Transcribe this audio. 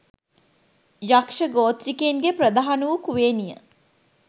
යක්‍ෂ ගෝත්‍රිකයින්ගේ ප්‍රධාන වු කුවේණිය